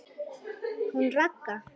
Hún Ragga?